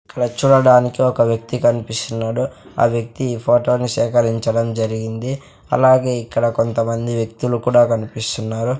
ఇక్కడ చూడడానికి ఒక వ్యక్తి కన్పిస్తున్నాడు ఆ వ్యక్తి ఈ ఫోటో ని సేకరించడం జరిగింది అలాగే ఇక్కడ కొంతమంది వ్యక్తులు కూడా కన్పిస్తున్నారు.